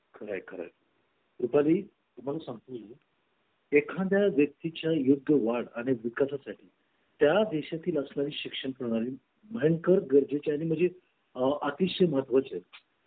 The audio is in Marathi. आपल्या देशाच्या विकासासाठी आणि प्रगतीसाठी त्यांना दूर करणे अत्यंत आवश्यक आहे.